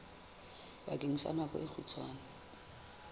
bakeng sa nako e kgutshwane